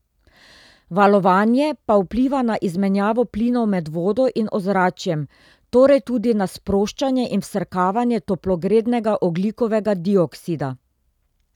Valovanje pa vpliva na izmenjavo plinov med vodo in ozračjem, torej tudi na sproščanje in vsrkavanje toplogrednega ogljikovega dioksida.